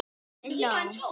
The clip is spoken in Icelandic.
Pabbi hló.